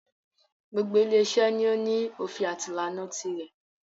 Gbogbo ile iṣẹ́ ni o ní òfin àti ìlànà tirẹ̀.